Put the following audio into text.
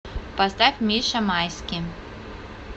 поставь миша майски